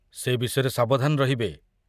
ସେ ବିଷୟରେ ସାବଧାନ ରହିବେ।